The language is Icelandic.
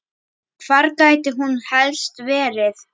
Hvar gæti hún helst verið?